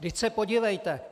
Vždyť se podívejte!